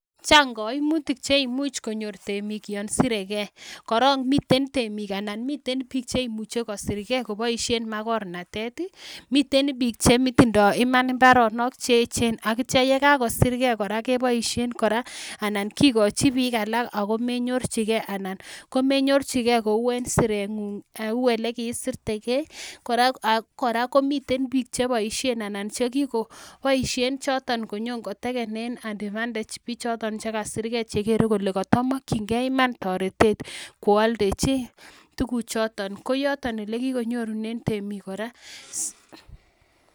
Chang kaimutik che imuch konyor temik yon surekei koron miten temik alan miten biik chemuche kosurkei cheboishen makornatet ii miten biik chetindoi imanit imoaronok cheechen akitya ye kakosir kei koboishen kora anan kikochin biik alak akomenyorchikei alan komenyorchikei kou en sirengung kou olekisurtekei ak kora komiten cheboishen anan che kikoboishen choto konyon kotekenen advantage bichoyon chekasirkei chekere kole katamoktinkei toretet kooldechi tuguk choton ko yoton olekikonyorunen temik.